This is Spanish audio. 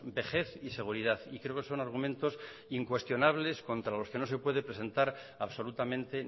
vejez y seguridad y creo que son argumentos incuestionables contra los que no se puede presentar absolutamente